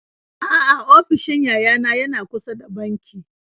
A'a ofishin yayana yana kusa da banki.